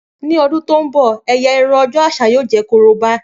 Ni ọdun to nbọ ẹ́yá irun ọjọ aṣa yoo jẹ koroba.